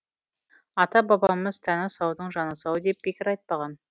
ата бабамыз тәні саудың жаны сау деп бекер айтпаған